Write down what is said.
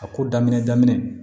A ko daminɛ daminɛ